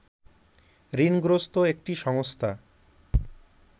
ঋণগ্রস্ত একটি সংস্থা